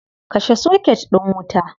Kashe soket din wuta.